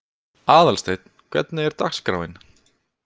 Aðalsteinn, hvernig er dagskráin?